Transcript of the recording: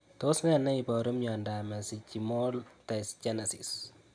Tos ne neiparu miondop mesenchymal dysgenesis?